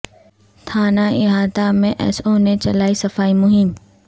تھانہ احاطہ میں ایس او نے چلائی صفائی مہم